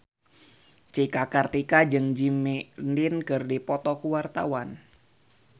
Cika Kartika jeung Jimmy Lin keur dipoto ku wartawan